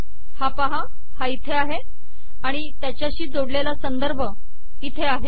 हा पाहा हा इथे आहे आणि त्याच्याशी जोडलेला संदर्भ इथे आहे